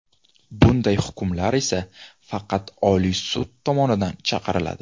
Bunday hukmlar esa faqat Oliy sud tomonidan chiqariladi.